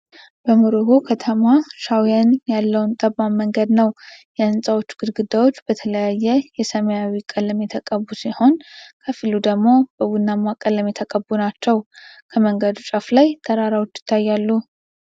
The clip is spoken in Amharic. በሞሮኮ ከተማ ሻውየን ያለውን ጠባብ መንገድ ነው። የህንጻዎቹ ግድግዳዎች በተለያየ የሰማያዊ ቀለም የተቀቡ ሲሆን፣ ከፊሎቹ ደግሞ በቡናማ ቀለም የተቀቡ ናቸው። ከመንገዱ ጫፍ ላይ ተራሮች ይታያሉ።